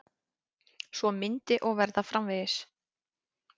Svo myndi og verða framvegis.